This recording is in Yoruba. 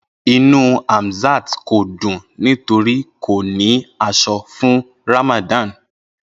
Inu Hamzat ko dun nitori ko ni aso fun Ramadan.